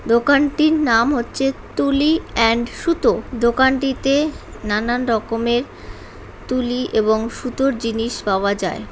দোকানটির নাম হচ্ছে তুলি অ্যান্ড সুতো। দোকানটিতে নানান রকমের তুলি এবং সুতোর জিনিস পাওয়া যায়।